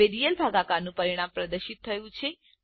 હવે રિયલ ભાગાકારનું પરિણામ પ્રદર્શિત થયું છે